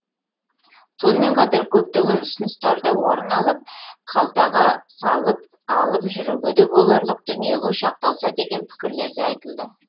сонымен қатар көптеген ұсыныстар да орын алып қалтаға салып алып жүруге де боларлық дүниеге шақталса деген пікірлер де айтылды